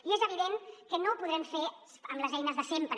i és evident que no ho podrem fer amb les eines de sempre